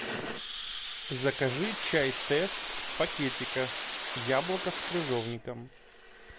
закажи чай тесс в пакетиках яблоко с крыжовником